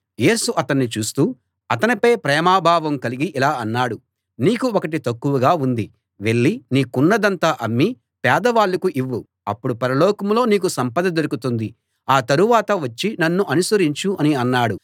యేసు అతన్ని చూస్తూ అతనిపై ప్రేమ భావం కలిగి ఇలా అన్నాడు నీకు ఒకటి తక్కువగా ఉంది వెళ్ళి నీకున్నదంతా అమ్మి పేదవాళ్ళకు ఇవ్వు అప్పుడు పరలోకంలో నీకు సంపద దొరుకుతుంది ఆ తరువాత వచ్చి నన్ను అనుసరించు అని అన్నాడు